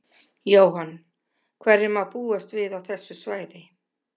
Jóhann: Hverju má búast við á þessu svæði?